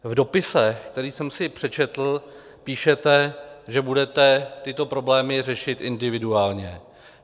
V dopise, který jsem si přečetl, píšete, že budete tyto problémy řešit individuálně.